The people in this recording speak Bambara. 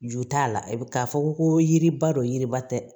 Jo t'a la bi k'a fɔ ko yiriba dɔ yiriba tɛ dɛ